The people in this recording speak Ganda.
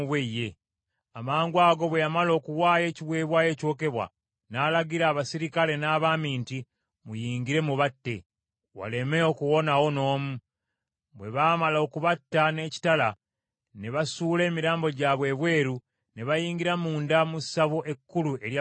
Amangwago bwe yamala okuwaayo ekiweebwayo ekyokebwa, n’alagira abaserikale n’abaami nti, “Muyingire mubatte; waleme okuwonawo n’omu.” Bwe baamala okubatta n’ekitala, ne basuula emirambo gyabwe ebweru, ne bayingira munda mu ssabo ekkulu erya Baali.